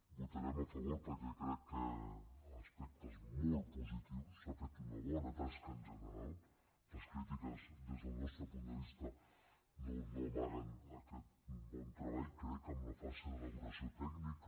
votarem a favor perquè crec que a aspectes molt positius s’ha fet una bona tasca en general les crítiques des del nostre punt de vista no amaguen aquest bon treball crec en la fase d’elaboració tècnica